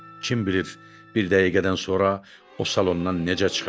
Kim bilir bir dəqiqədən sonra o salondan necə çıxacaq.